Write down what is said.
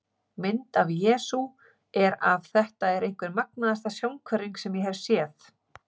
Mynd af Jesú er af Þetta er einhver magnaðasta sjónhverfing sem ég hef séð.